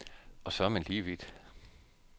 Og så er man lige vidt.